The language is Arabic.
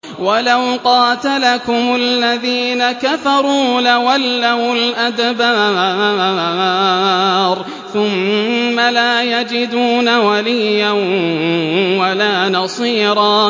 وَلَوْ قَاتَلَكُمُ الَّذِينَ كَفَرُوا لَوَلَّوُا الْأَدْبَارَ ثُمَّ لَا يَجِدُونَ وَلِيًّا وَلَا نَصِيرًا